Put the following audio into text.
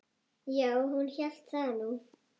Já, hún hélt nú það.